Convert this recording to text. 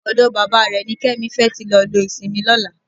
Ọ̀dọ bàbá rẹ̀ ni Kẹ́mi fẹ́ tí lọ lo ìsinmi lọ́la